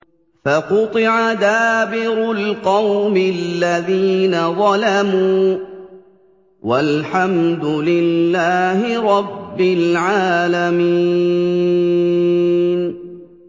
فَقُطِعَ دَابِرُ الْقَوْمِ الَّذِينَ ظَلَمُوا ۚ وَالْحَمْدُ لِلَّهِ رَبِّ الْعَالَمِينَ